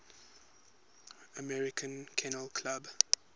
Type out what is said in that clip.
american kennel club